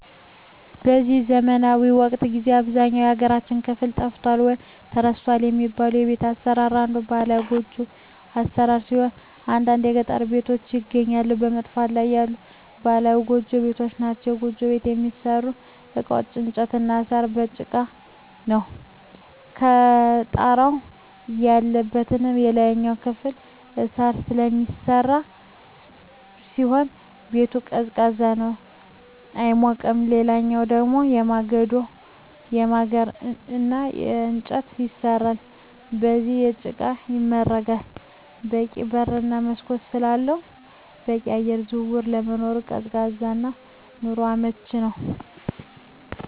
በዚህ ዘመናዊ ወቅት ጊዜ በአብዛኛው የሀገራችን ክፍል ጠፍቷል ወይም ተረስቷል የሚባለው የቤት አሰራር አንዱ ባህላዊ ጎጆ ቤት አሰራር ሲሆን በአንዳንድ የገጠር ቀበሌዎች ይገኛሉ በመጥፋት ላይ ያሉ ባህላዊ ጎጆ ቤቶች ናቸዉ። የጎጆ ቤት የሚሠሩበት እቃዎች በእንጨት እና በሳር፣ በጭቃ ነው። የጣራው ማለትም የላይኛው ክፍል በሳር ስለሚሰራ ሲሆን ቤቱ ቀዝቃዛ ነው አይሞቅም ሌላኛው ደሞ በማገር እና በእንጨት ይሰራል ከዛም በጭቃ ይመረጋል በቂ በር እና መስኮት ስላለው በቂ የአየር ዝውውር ስለሚኖር ቀዝቃዛ እና ለኑሮ አመቺ ነው።